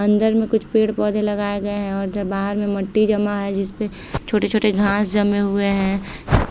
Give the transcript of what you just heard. अंदर में कुछ पेड़-पौधे लगाए गए हैंऔर जो बाहर में मट्टी जमा है जिसपे छोटे-छोटे घास जमे हुए हैं।